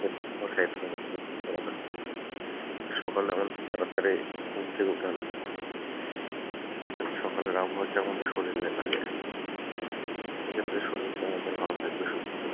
হম সকালে আমাদের তাড়াতাড়ি ঘুম থেকে উঠা লাগবে সকালের আবহাওয়াটা আমাদের শরীলে লাগে সেক্ষেত্রে শরীলটা আমাদের ভালো থাকবে সুস্থ থাকবে।